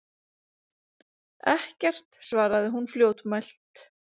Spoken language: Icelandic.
Ekkert, svaraði hún fljótmælt.